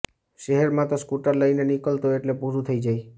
શહેરમાં તો સ્કૂટર લઈને નીકળો એટલે પૂરું થઈ જાય